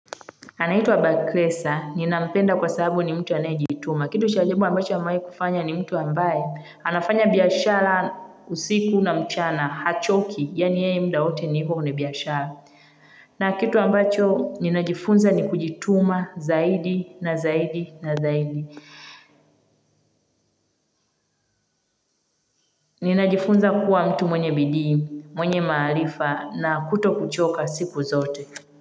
Anaitwa Bakresa, ninampenda kwa sababu ni mtu anayejituma. Kitu shajibu ambacho amewai kufanya ni mtu ambaye. Anafanya biashara, usiku na mchana, hachoki, yani ye mda wote ni hivo biashara. Na kitu ambacho ninajifunza ni kujituma zaidi na zaidi na zaidi. Ninajifunza kuwa mtu mwenye bidii, mwenye maharifa na kuto kuchoka siku zote.